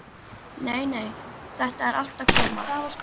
Nei, nei, þetta er allt að koma.